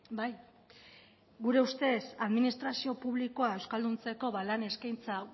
bai gure ustez administrazio publikoa euskalduntzeko lan eskaintza